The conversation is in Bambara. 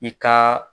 I ka